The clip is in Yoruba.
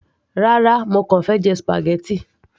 rárá, mo kàn fẹ́ jẹ spaghetti